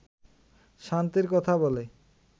শান্তির কথা বলে